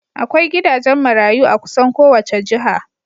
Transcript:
Akwai gidajen marayu a kusan kowace jiha.